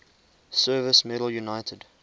service medal united